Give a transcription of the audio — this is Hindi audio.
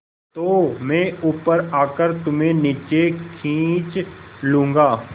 तो मैं ऊपर आकर तुम्हें नीचे खींच लूँगा